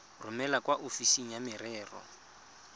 romele kwa ofising ya merero